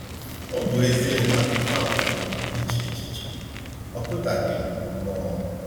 Ọ bụ ezie na akụkọ a kpaliri m iche echiche, ọ kụdaghị m mmụọ.